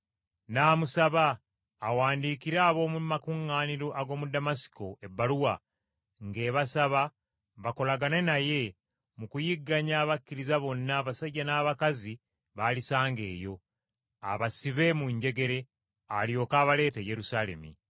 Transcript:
n’amusaba awandiikire ab’omu makuŋŋaaniro ag’omu Damasiko ebbaluwa, ng’ebasaba bakolagane naye mu kuyigganya abakkiriza bonna abasajja n’abakazi b’alisanga eyo, abasibe mu njegere, alyoke abaleete e Yerusaalemi.